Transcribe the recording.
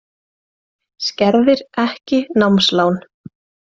Skerðir ekki námslán